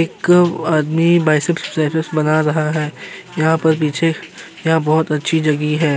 एक आदमी biceps triceps बना रहा है। यहाँ पर पीछे यहाँ बोहोत अच्छी जगह है।